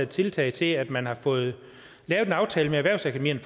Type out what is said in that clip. tiltag til at man har fået lavet en aftale med erhvervsakademierne